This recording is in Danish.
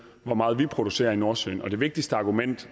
hvor meget vi producerer i nordsøen det vigtigste argument